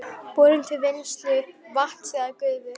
borun til vinnslu vatns eða gufu.